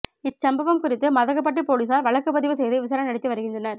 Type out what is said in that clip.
இச்சம்பவம் குறித்து மதகுபட்டி போலீசார் வழக்குப்பதிவு செய்து விசாரணை நடத்தி வருகின்றனர்